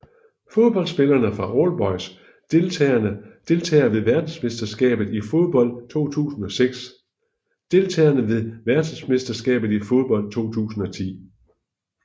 Fodboldspillere fra All Boys Deltagere ved verdensmesterskabet i fodbold 2006 Deltagere ved verdensmesterskabet i fodbold 2010